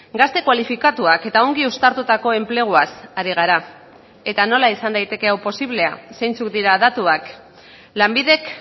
gazte kualifikatuak eta ongi uztartutako enpleguaz ari gara eta nola izan daiteke hau posiblea zeintzuk dira datuak lanbidek